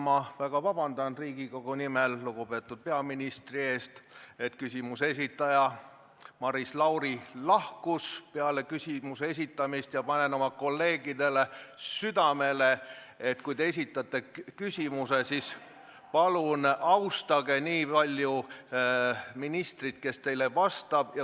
Ma palun Riigikogu nimel vabandust lugupeetud peaministrilt, et küsimuse esitaja Maris Lauri lahkus peale küsimuse esitamist saalist, ja panen kolleegidele südamele, et kui te esitate küsimuse, siis palun austage ministrit, kes teile vastab.